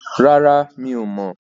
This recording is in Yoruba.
Rárá, mi ò mọ̀.